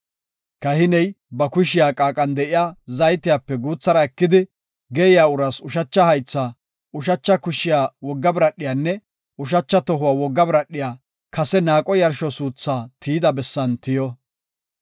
Kahiney ba kushiya qaaqan de7iya zaytiyape guuthara ekidi, geeyiya uraas ushacha haytha, ushacha kushiya wogga biradhiyanne ushacha tohuwa wogga biradhiya kase naaqo yarsho suuthaa tiyida bessan tiyo.